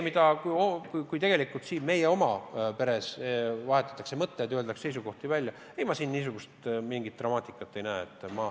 Aga kui siin meie oma peres vahetatakse mõtteid, öeldakse seisukohti välja, siis selles ma mingit dramaatikat ei näe.